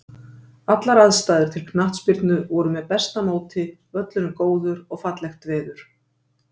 Allar aðstæður til knattspyrnu voru með besta móti, völlurinn góður og fallegt veður.